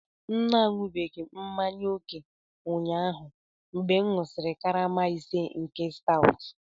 M na-aṅụbiga mmanya ókè ụnyaahụ mgbe m ṅụsịrị karama ise nke stout